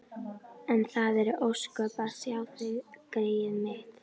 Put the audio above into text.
En það eru ósköp að sjá þig, greyið mitt.